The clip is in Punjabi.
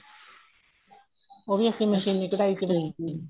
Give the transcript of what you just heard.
ਉਹ ਵੀ ਅਸੀਂ ਮਸ਼ੀਨੀ ਕਢਾਈ ਚ ਲਈ ਸੀ